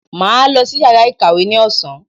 Màá lọ sí yàrá ìkàwé ní ọ̀sán.